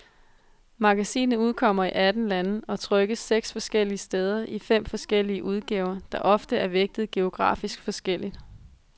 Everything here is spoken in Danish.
Magasinet udkommer i atten lande og trykkes seks forskellige steder i fem forskellige udgaver, der ofte er vægtet geografisk forskelligt.